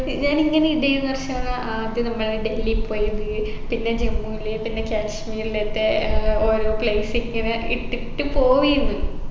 ഞാൻ ഇങ്ങനെ ഇടെന്നു അർഷാന ആദ്യം നമ്മള് ഡൽഹി പോയത് പിന്നെ ജമ്മുല് പിന്നെ കാശ്മീർലൊക്കെ ഏർ ഓരോ place ഇങ്ങനെ ഇട്ടിട്ട് പോവെന്ന്‌